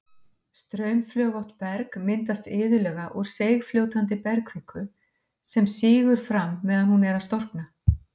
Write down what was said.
Straumflögótt berg myndast iðulega úr seigfljótandi bergkviku sem sígur fram meðan hún er að storkna.